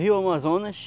rio Amazonas,